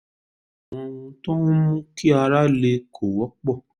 àwọn ohun tó ń mú kí ara le kò wọ́pọ̀